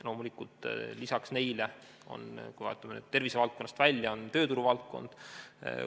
Loomulikult, lisaks sellele, kui me vaatame tervisevaldkonnast välja, on tööturuvaldkond.